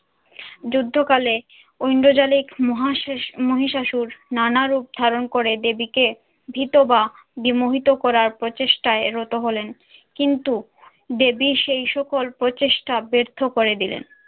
যুদ্ধকালে ঐন্দ্রজালিক মহাষা~ মহিষাসুর নানা রূপ ধারণ করে দেবীকে ভীত বা বিমোহিত করার প্রচেষ্টায় রত হলেন। কিন্তু দেবী সেই সকল প্রচেষ্টা ব্যর্থ করে দিলেন।